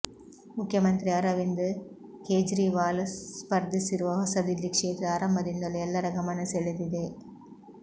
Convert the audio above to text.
ಮುಖ್ಯಮಂತ್ರಿ ಅರವಿಂದ್ ಕೇಜ್ರಿವಾಲ್ ಸ್ಪರ್ಧಿಸಿರುವ ಹೊಸದಿಲ್ಲಿ ಕ್ಷೇತ್ರ ಆರಂಭದಿಂದಲೂ ಎಲ್ಲರ ಗಮನ ಸೆಳೆದಿದೆ